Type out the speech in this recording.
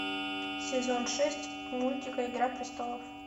сезон шесть мультика игра престолов